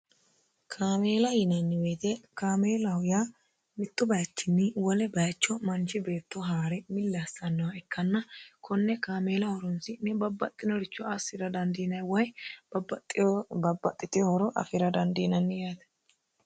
kaameela yinanniweete kaameelahu yaa mittu bayichinni wole bayicho manchi beetto haa're millaassannoha ikkanna konne kaameela horonsi'ne babbaxxinoricho assira dandiinay woy babbaxxitino horo afira dandiinanni yaate